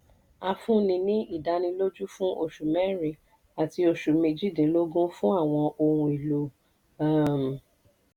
a fúnni ní ìdánilójú fún oṣù mẹ́rìn àti oṣù méjìdínlógún fún àwọn ohun èlò. um